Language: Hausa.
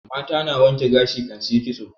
Mata na wanke gashi kan su yi ƙitso